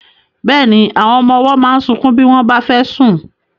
Bẹ́ẹ̀ni, àwọn ọmọ ọwọ́ máa ń sunkún bí wọ́n bá fẹ́ sùn.